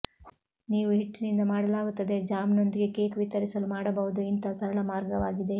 ನೀವು ಹಿಟ್ಟಿನಿಂದ ಮಾಡಲಾಗುತ್ತದೆ ಜ್ಯಾಮ್ನೊಂದಿಗೆ ಕೇಕ್ ವಿತರಿಸಲು ಮಾಡಬಹುದು ಇಂತಹ ಸರಳ ಮಾರ್ಗವಾಗಿದೆ